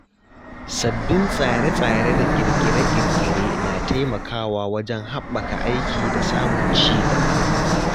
Sabbin tsare-tsare da ƙirƙire-ƙirƙire na taimakawa wajen haɓaka aiki da samun ci gaba.